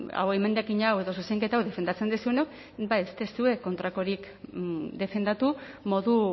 emendakina hau edo zuzenketa hau defendatzen duzuenok ba ez duzue kontrakorik defendatu modu